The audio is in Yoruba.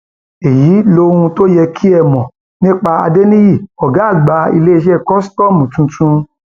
èyí lohun tó yẹ kẹ ẹ mọ nípa adẹniyí ọgá àgbà iléeṣẹ kòsítọọmù tuntun